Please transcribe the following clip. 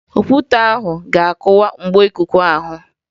Okwute ahụ ga-akụwa mgbo ikuku ahụ